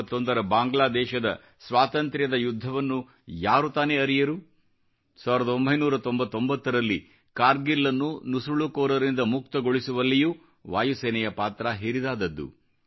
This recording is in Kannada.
1971 ರ ಬಾಂಗ್ಲಾದೇಶದ ಸ್ವಾತಂತ್ರ್ಯದ ಯುದ್ಧವನ್ನು ಯಾರು ತಾನೇ ಅರಿಯರು 1999 ರಲ್ಲಿ ಕಾರ್ಗಿಲ್ನ್ನು ನುಸುಳುಕೋರರಿಂದ ಮುಕ್ತಗೊಳಿಸುವಲ್ಲಿಯೂ ವಾಯುಸೇನೆಯ ಪಾತ್ರ ಹಿರಿದಾದದ್ದು